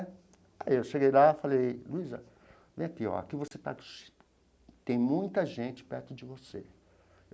Aí eu cheguei lá e falei, Luíza, vem aqui, ó. Aqui você está... tem muita gente perto de você.